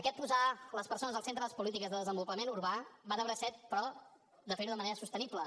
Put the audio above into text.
aquest posar les persones al centre de les polítiques de desenvolupament urbà va de bracet però de fer ho de manera sostenible